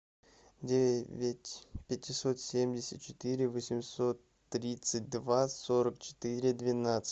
девять пятьсот семьдесят четыре восемьсот тридцать два сорок четыре двенадцать